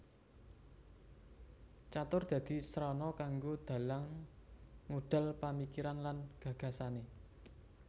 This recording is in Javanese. Catur dadi srana kanggo dalang ngudal pamikiran lan gagasane